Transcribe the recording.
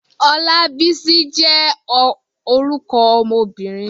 Olabisi jé orúkọ ọmobìnrin.